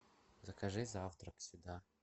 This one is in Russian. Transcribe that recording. закажи завтрак сюда